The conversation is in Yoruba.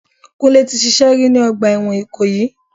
Kúnlé tí ṣíṣe rí ni ọgbà ẹ̀wọ̀n ikoyi.